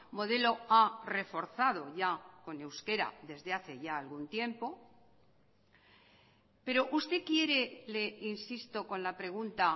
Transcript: modelo a reforzado ya con euskera desde hace ya algún tiempo pero usted quiere le insisto con la pregunta